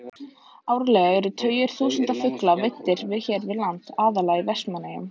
Árlega eru tugir þúsunda fugla veiddir hér við land, aðallega í Vestmannaeyjum.